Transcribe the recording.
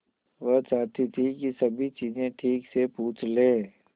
वह चाहती थी कि सभी चीजें ठीक से पूछ ले